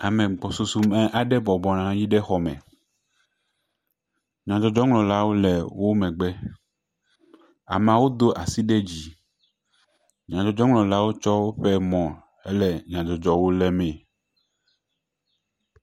Ame gbɔsusu aɖe bɔbɔ nɔ anyi ɖe xɔme. Nyadzɔdzɔŋlɔlawo le wo megbe. Ameawo do asi ɖe dzi. Nyadzɔdzɔŋlɔlawo kɔ woƒe mɔ hele nyawo lé mee.